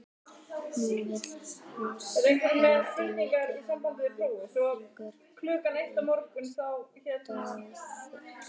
Nú vill húsbóndinn ekki hafa hann lengur í stóði.